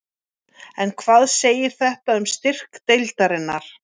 En hvað segir þetta um styrk deildarinnar?